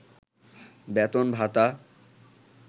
বেতন-ভাতা